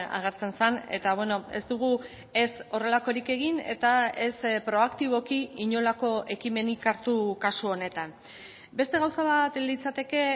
agertzen zen eta ez dugu ez horrelakorik egin eta ez proaktiboki inolako ekimenik hartu kasu honetan beste gauza bat litzateke